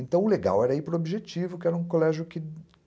Então o legal era ir para o objetivo, que era um colégio que